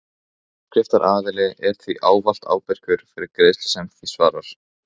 Áskriftaraðili er því ávallt ábyrgur fyrir greiðslu sem því svarar.